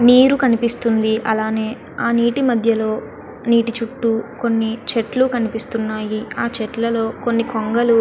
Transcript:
నీరు కనిపిస్తుంది. అలానే నీటి మధ్యలో నీటి చుట్టూ కొన్ని చెట్టులు కనిపిస్తున్నాయి. అలాగే ఆ చెట్లలో కొన్ని కొంగలు --